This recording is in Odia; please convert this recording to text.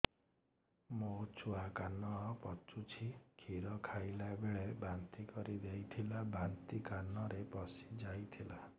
ମୋ ଛୁଆ କାନ ପଚୁଛି କ୍ଷୀର ଖାଇଲାବେଳେ ବାନ୍ତି କରି ଦେଇଥିଲା ବାନ୍ତି କାନରେ ପଶିଯାଇ ଥିଲା